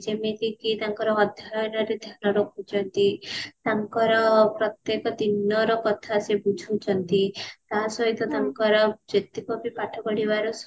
ଯେମିତିକି ତାଙ୍କର ଅଧ୍ୟୟନ ରେ ଧ୍ୟାନ ରଖୁଛନ୍ତି ତାଙ୍କର ପ୍ରତ୍ୟକ ଦିନର କଥା ସେ ବୁଝୁଛନ୍ତି ତା ସହିତ ତାଙ୍କର ଯେତିକ ବି ପାଠ ପଢିବାର